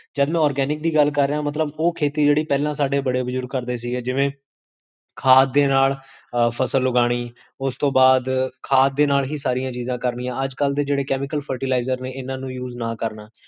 ਜਦ ਮੈਂ organic ਦੀ ਗਲ ਕਰ ਰਿਹਾ ਹਾਂ, ਮਤਲਬ ਓਹ ਖੇਤੀ, ਜੇਹੜੀ ਪੇਹ੍ਲਾਂ ਸਾਡੇ ਬੜੇ ਬੁਜੁਰਗ ਕਰਦੇ ਸੀ, ਜਿਵੇਂ ਖਾਦ ਦੇ ਨਾਲ ਫ਼ਸਲ ਉਗਾਨੀ, ਓਸ ਤੋ ਬਾਦ, ਖਾਦ ਦੇ ਨਾਲ ਹੀ ਸਾਰੀਆਂ ਚੀਜਾਂ ਕਰਨੀਆਂ ਅੱਜ ਕਲ ਦੇ chemical fertiliser ਨੇ, ਇੰਨਾ ਨੂੰ use ਨਾ ਕਰਨਾ